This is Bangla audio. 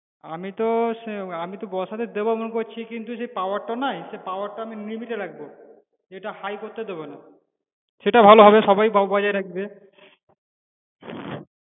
আমি তো সে আমি তো বছরে দেবো মনে করছি কিন্তু সে power টা নাই সেই power টা আমি limit এ রাখবো, যেটা high করতে দেবনা, সেটাই ভালো হবে সবাই ব~ বজায় রাখবে